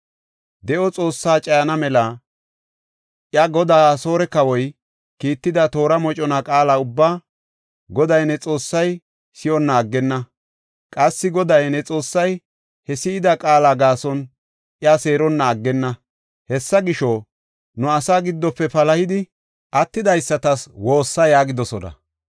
De7o Xoossaa cayana mela, iya goday, Asoore kawoy, kiitida toora mocona qaala ubbaa, Goday ne Xoossay si7onna aggenna. Qassi Goday, ne Xoossay he si7ida qaala gaason iya seeronna aggenna. Hessa gisho, nu asaa giddofe palahidi attidaysatas woossa’ ” yaagidosona.